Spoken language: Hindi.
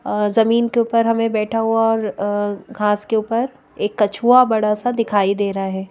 जमीन के ऊपर हमें बैठा हुआ और घास के ऊपर एक कछुआ बड़ा सा दिखाई दे रहा है।